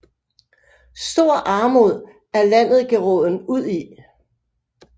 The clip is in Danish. Stor Armod er Landet geraaden udi